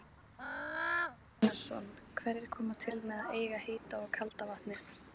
Guðbrandur Einarsson: Hverjir koma til með að eiga heita og kalda vatnið?